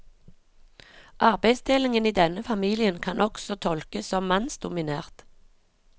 Arbeidsdelingen i denne familien kan også tolkes som mannsdominert.